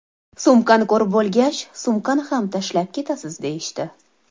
Sumkani ko‘rib bo‘lgach, sumkani ham tashlab ketasiz, deyishdi.